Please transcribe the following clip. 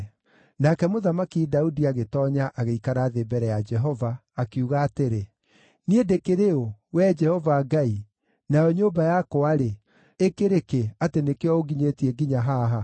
Nake Mũthamaki Daudi agĩtoonya, agĩikara thĩ mbere ya Jehova, akiuga atĩrĩ: “Niĩ ndĩkĩrĩ ũ, Wee Jehova Ngai, nayo nyũmba yakwa-rĩ, ĩkĩrĩ kĩ, atĩ nĩkĩo ũnginyĩtie nginya haha?